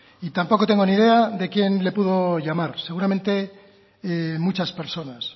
y tampoco tengo ni idea de quién le pudo llamar seguramente muchas personas